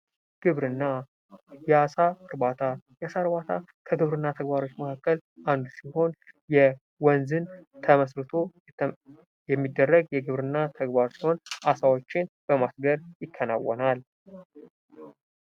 ግብርና ። የአሳ እርባታ ፡የአሳ እርባታ ከግብርና ተግባሮች መካከል አንዱ ሲሆን የወንዝን ተመስርቶ የሚደረግ የግብርና ተግባር ሲሆን አሳዎችን በማስገር ይከናወናል ።